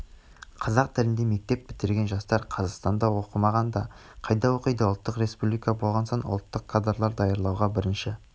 қазақ тілінде мектеп бітірген жастар қазақстанда оқымаған да қайда оқиды ұлттық республика болған соң ұлттық кадрлар дайындауға бірінші